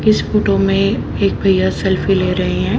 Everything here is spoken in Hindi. इस फोटो में एक भैया सेल्फी ले रहे हैं।